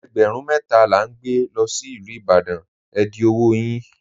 Ègbérún mẹta la n gbà lọ sí Ilú Ìbàdàn, è dì ọwọ́ yín.